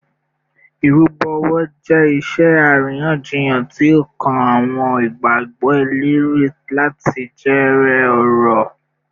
Irubo owo jẹ iṣe ariyanjiyan ti o kan awọn igbagbọ eleri lati jere ọrọ